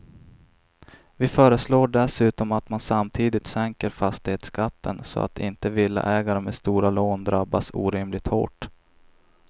Vi föreslår dessutom att man samtidigt sänker fastighetsskatten så att inte villaägare med stora lån drabbas orimligt hårt.